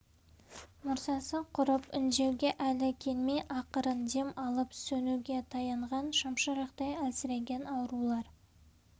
мұрсасы құрып үндеуге әлі келмей ақырын дем алып сөнуге таянған шамшырақтай әлсіреген аурулар